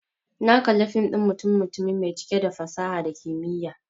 Na kalla fim ɗin mutum-mutumi mai cike da fasaha da kimiyya.